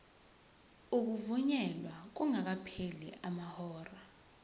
ukuvunyelwa kungakapheli amahora